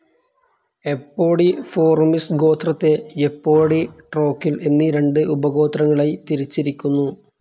Apodiformes ഗോത്രത്തെ എപ്പോഡി, ട്രോക്കിൽ എന്നീ രണ്ട് ഉപഗോത്രങ്ങളായി തിരിച്ചിരിക്കുന്നു.